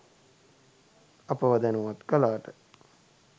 අපව දැනුවත් කලාට.